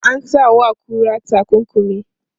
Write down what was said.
Ana sa wa kura takunkumi.